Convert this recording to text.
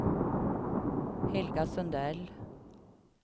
Helga Sundell